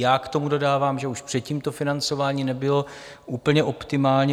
Já k tomu dodávám, že už předtím to financování nebylo úplně optimální.